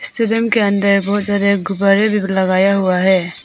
Restaurant के अंदर बहोत सारे गुब्बारे भी लगाया हुआ है।